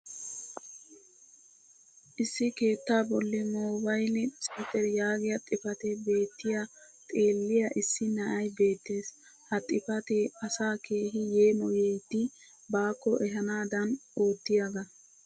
issi keettaa boli moobayli sentter yaagiya xifatee beettiyaa xeeliya issi na"ay beettees. ha xafatee asaa keehi yeemoyyidi baakko ehaanaadan oottiyaaga.